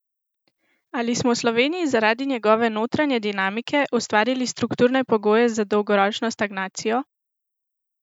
Ali smo v Sloveniji zaradi njegove notranje dinamike ustvarili strukturne pogoje za dolgoročno stagnacijo?